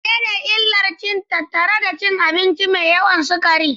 Menene illar da ke tattare da cin abinci mai yawan sukari?